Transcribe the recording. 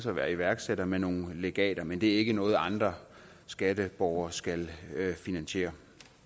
at være iværksætter med nogle legater men det er ikke noget andre skatteborgere skal finansiere